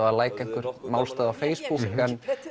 að læka einhvern málstað á Facebook en